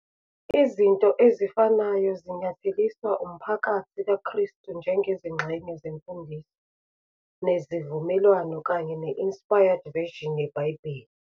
Izinto ezifanayo zinyatheliswa uMphakathi KaKrestu njengezingxenye zeMfundiso neziVumelwano kanye ne- Inspired Version yeBhayibheli.